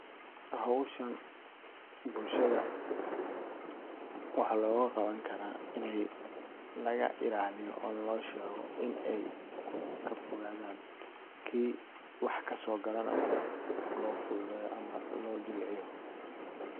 Howshan bulshada waxa loga gabani kara iney kafogadan oo wax loga shego ,kii wax kaso galana loo fududeyo ama loo jilciyo.